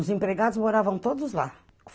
Os empregados moravam todos lá.